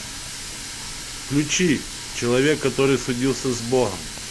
включи человек который судился с богом